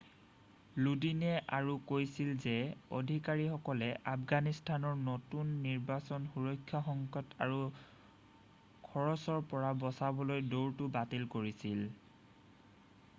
লোডিনে আৰু কৈছিল যে অধিকাৰীসকলে আফগানিসকলৰ নতুন নিৰ্বাচনৰ সুৰক্ষা সংকট আৰু খৰচৰ পৰা বচাবলৈ দৌৰটো বাতিল কৰিছিল